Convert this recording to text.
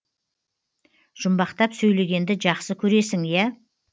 жұмбақтап сөйлегенді жақсы көресің ия